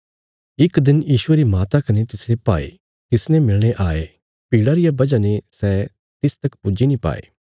इक दिन यीशुये री माता कने तिसरे भाई तिसने मिलणे आये भीड़ा रिया वजह ने सै तिस तक पुज्जी नीं पाये